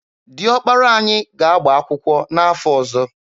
Dị ọkpara anyị ga-agba akwụkwọ n'afọ ọzọ.